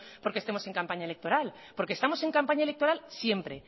porque estemos en campaña electoral porque estamos en campaña electoral siempre